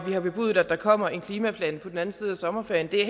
vi har bebudet at der kommer en klimaplan på den anden side af sommerferien det er